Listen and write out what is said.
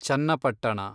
Channapatna